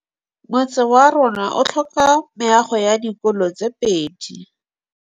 Motse warona o tlhoka meago ya dikolô tse pedi.